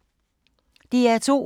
DR2